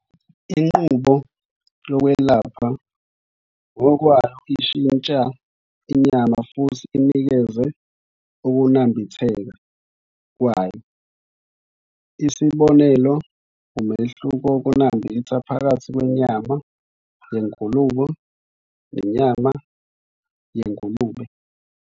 Inqubo yokwelapha ngokwayo ishintsha inyama futhi inikeze ukunambitheka kwayo.isibonelo umehluko wokunambitha phakathi kwenyama yengulube nenyama yengulube.